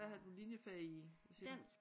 Hvad havde du linjefag i siger du